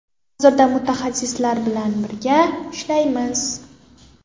Hozirda mutaxassislar bilan birga ishlayapmiz.